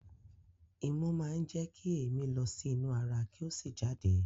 Imú máa ń jẹ kí èémí lọ sí inú ara kí ó sì jáde.